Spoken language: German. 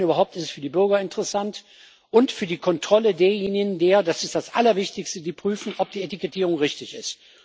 Wenn überhaupt, ist es für die Bürger interessant und für die Kontrolle derjenigen das ist das allerwichtigste die prüfen, ob die Etikettierung richtig ist.